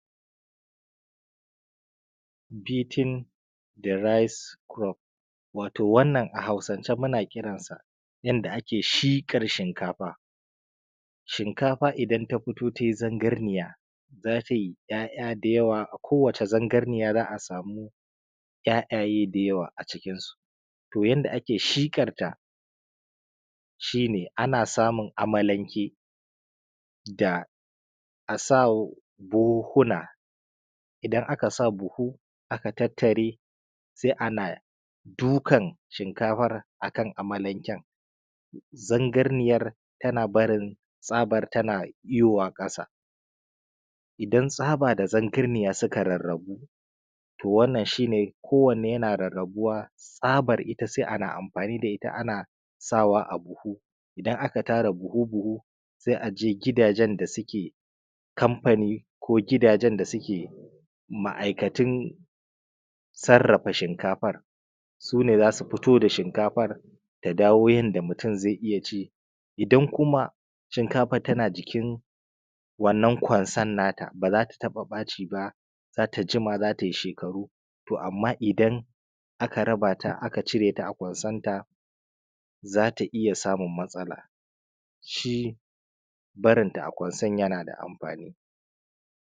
beating the rice crop wato a hausance muna kiransa yadda ake shiƙar shinkafa shinkafa idan ta fito tai zangarniya za tai ‘ya’ya da yawa a ko wane zangarniya za a samu ‘ya’yaye da yawa a cikin su yanda ake shiƙar ta shi ne ana samun amalanke da a sa buhuhuna idan aka sa buhu aka tattare sai ana dukan shinkafar a kan amalanken zangarniyar tana barin tsabar tana yowa ƙasa idan tsaba da zangarniya suka rarrabu to wannan shi ne ko wanne yana rarrabuwa tsabar sai ita ana amfani da ita ana ana sawa a buhu idan aka tara buhu buhu sai a je gidajen da suke kamfani ko gidajen da suke ma’aikatun sarrafa shinkafar su ne za su fito da shinkafar ta dawo yanda mutum zai iya ci idan kuma shinkafar tana jikin wannan kwansar na ta ba za ta taɓa baci ba za ta jima za tai shekaru to amma idan aka raba ta aka cire ta a kwansarta za ta iya samun matsala shi barin ta a kwansar yana da amfani